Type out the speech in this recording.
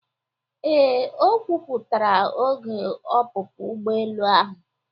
Ee, e kwuputara oge ọpụpụ ụgbọelu ahụ.